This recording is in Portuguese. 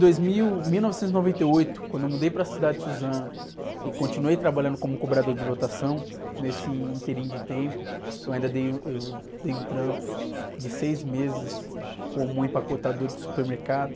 Em dois mil... Mil novecentos e noventa e oito, quando eu mudei para a cidade de Suzano e continuei trabalhando como cobrador de lotação, nesse ínterim de tempo, eu ainda dei, eu dei um trampo de seis meses como empacotador de supermercado.